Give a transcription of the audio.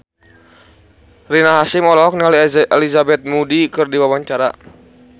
Rina Hasyim olohok ningali Elizabeth Moody keur diwawancara